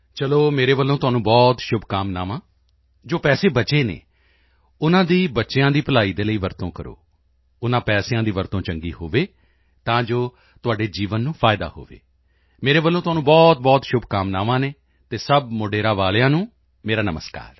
ਚਲੋ ਮੇਰੇ ਵੱਲੋਂ ਤੁਹਾਨੂੰ ਬਹੁਤ ਸ਼ੁਭਕਾਮਨਾਵਾਂ ਜੋ ਪੈਸੇ ਬਚੇ ਹਨ ਉਨ੍ਹਾਂ ਦੀ ਬੱਚਿਆਂ ਦੀ ਭਲਾਈ ਦੇ ਲਈ ਵਰਤੋਂ ਕਰੋ ਉਨ੍ਹਾਂ ਪੈਸਿਆਂ ਦੀ ਵਰਤੋਂ ਚੰਗੀ ਹੋਵੇ ਤਾਂ ਜੋ ਤੁਹਾਡੇ ਜੀਵਨ ਨੂੰ ਫਾਇਦਾ ਹੋਵੇ ਮੇਰੇ ਵੱਲੋਂ ਤੁਹਾਨੂੰ ਬਹੁਤ ਸ਼ੁਭਕਾਮਨਾਵਾਂ ਹਨ ਅਤੇ ਸਭ ਮੋਢੇਰਾ ਵਾਲਿਆਂ ਨੂੰ ਮੇਰਾ ਨਮਸਕਾਰ